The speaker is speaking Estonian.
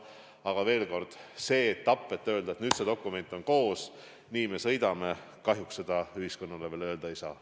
Aga veel kord: kahjuks seda, et nüüd see dokument on koos, nii me sõidame, ühiskonnale veel öelda ei saa.